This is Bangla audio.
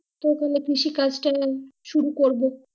কেউ করলে কৃষি কাজ তাও শুরু করবো।